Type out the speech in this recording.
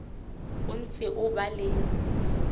o ntse o ba le